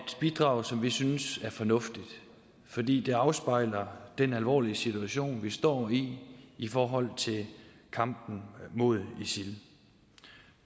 bidrag som vi synes er fornuftigt fordi det afspejler den alvorlige situation vi står i i forhold til kampen mod isil